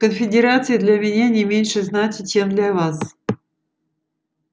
конфедерация для меня не меньше значит чем для вас